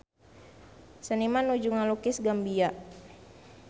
Seniman nuju ngalukis Gambia